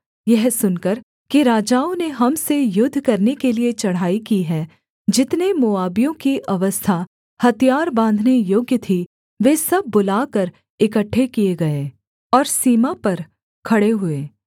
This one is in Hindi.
यह सुनकर कि राजाओं ने हम से युद्ध करने के लिये चढ़ाई की है जितने मोआबियों की अवस्था हथियार बाँधने योग्य थी वे सब बुलाकर इकट्ठे किए गए और सीमा पर खड़े हुए